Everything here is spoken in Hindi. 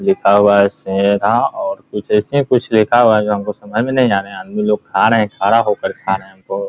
लिखा हुआ है शेरा और कुछ ऐसे कुछ लिखा हुआ है जो हमको समझ में नहीं आ रहा आदमी लोग खा रहे है खड़ा होकर खा रहे है बहुत --